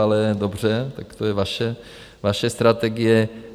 Ale dobře, tak to je vaše strategie.